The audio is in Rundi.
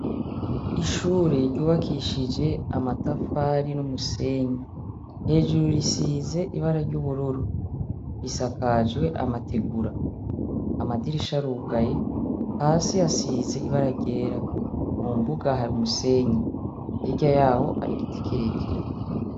Ishure ryubakishije amatafari n'umusenyi, hejuru risize ibara ry'ubururu risakajwe amategura, amadirisha arugaye hasi hasize ibara ryera, mu mbuga hari umusenyi, hirya yaho hari igiti kirekire.